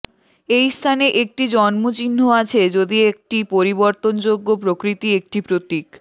এই স্থানে একটি জন্ম চিহ্ন আছে যদি একটি পরিবর্তনযোগ্য প্রকৃতি একটি প্রতীক